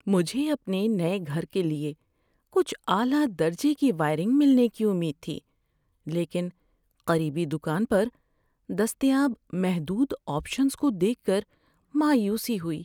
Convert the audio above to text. مجھے اپنے نئے گھر کے لیے کچھ اعلی درجے کی وائرنگ ملنے کی امید تھی، لیکن قریبی دکان پر دستیاب محدود آپشنز کو دیکھ کر مایوسی ہوئی۔